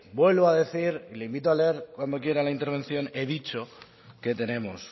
vuelvo a decir le invito a leer cuando quiera la intervención he dicho que tenemos